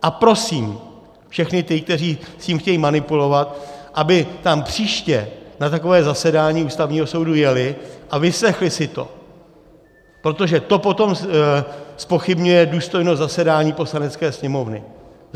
A prosím všechny ty, kteří s tím chtějí manipulovat, aby tam příště na takové zasedání Ústavního soudu jeli a vyslechli si to, protože to potom zpochybňuje důstojnost zasedání Poslanecké sněmovny.